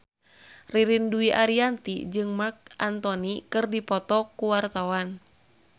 Ririn Dwi Ariyanti jeung Marc Anthony keur dipoto ku wartawan